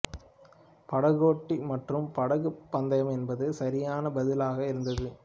படகோட்டி மற்றும் படகுப் பந்தயம் என்பது சரியான பதிலாக இருந்தது